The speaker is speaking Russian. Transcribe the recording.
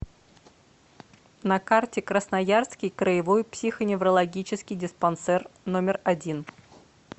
на карте красноярский краевой психоневрологический диспансер номер один